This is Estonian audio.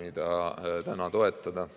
mida täna toetada.